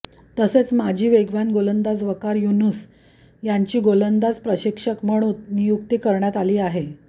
तसेच माजी वेगवान गोलंदाज वकार यूनिस यांची गोलंदाज प्रशिक्षक म्हणून नियुक्ती करण्यात आली आहे